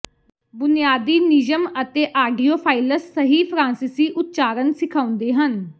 ਬੁਨਿਆਦੀ ਨਿਯਮ ਅਤੇ ਆਡੀਓਫਾਈਲਸ ਸਹੀ ਫ਼ਰਾਂਸੀਸੀ ਉਚਾਰਨ ਸਿਖਾਉਂਦੇ ਹਨ